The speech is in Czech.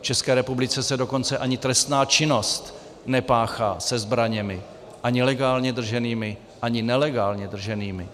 V České republice se dokonce ani trestná činnost nepáchá se zbraněmi, ani legálně drženými, ani nelegálně drženými.